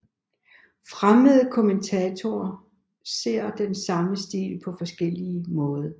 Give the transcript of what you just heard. Fremmede kommentatorer ser den samme stil på forskellig måde